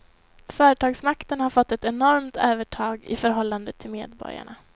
Företagsmakten har fått ett enormt övertag i förhållande till medborgarna.